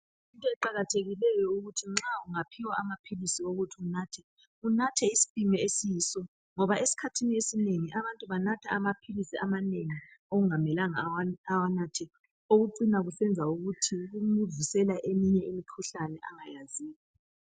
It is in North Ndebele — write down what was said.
Kuyinto eqakathekileyo ukuthi nxa ungaphiwa amaphilisi ukuthi unathe, unathe isipimo esiyiso, ngoba esikhathin'esinengi abantu banatha amaphilisi amanengi okungamelanga ukuthi bawanathe okucina kubavusela eminye imikhuhlane abangayaziyo.